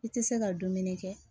I tɛ se ka dumuni kɛ